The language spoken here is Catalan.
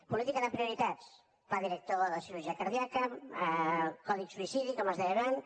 política de prioritats pla director de cirurgia cardíaca codi suïcidi com es deia abans